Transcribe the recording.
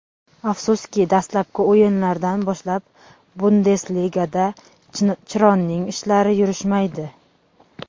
Afsuski, dastlabki o‘yinlardan boshlab Bundesligada Chironing ishlari yurishmaydi.